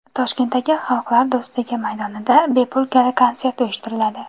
Toshkentdagi Xalqlar do‘stligi maydonida bepul gala-konsert uyushtiriladi.